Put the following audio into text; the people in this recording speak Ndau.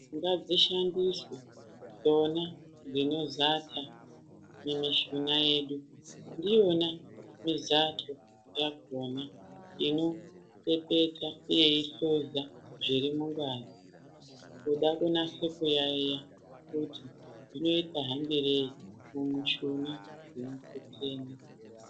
Ngadzishandiswe dzona dzinozata kumishuna yedu ndiyona mizato yakona inopepeta, uye yeihluza zviri mungazi. Kuda kunase kuyaiya kuti zvinota hambirei kumushuna dzemukuteni.